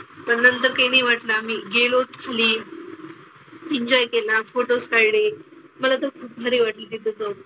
पण नंतर काही नाही वाटलं. आम्ही गेलोच खाली. enjoy केला. फोटोज काढले. मला तर खूप भारी वाटलं तिथं जाऊन.